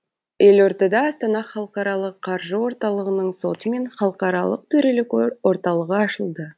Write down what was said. елордада астана халықаралық қаржы орталығының соты мен халықаралық төрелік орталығы ашылды